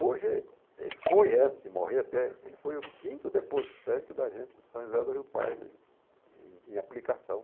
Hoje, ele foi, antes de morrer, até, ele foi o quinto depositante da agência de São José do Rio Pardo em em em aplicação.